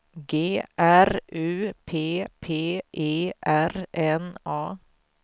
G R U P P E R N A